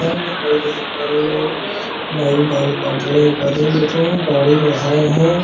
दुकान है नाई के दुकान में नाई बाल काट रहे हैं एक आदमी बैठे हैं दाड़ी बढ़ाए है ।